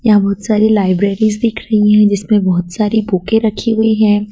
यहां बहुत सारी लाइब्रेरीज दिख रही है जिसमें बहुत सारी बुके रखी हुई है।